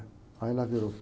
Aí ela virou.